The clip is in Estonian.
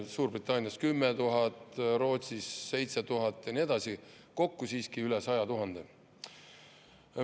Suurbritannias on 10 000, Rootsis 7000 ja nii edasi, kokku siiski üle 100 000.